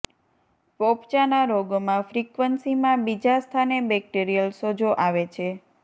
પોપચાના રોગોમાં ફ્રીક્વન્સીમાં બીજા સ્થાને બેક્ટેરીયલ સોજો આવે છે